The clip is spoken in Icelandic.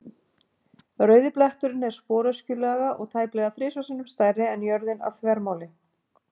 Rauði bletturinn er sporöskjulaga og tæplega þrisvar sinnum stærri en jörðin að þvermáli.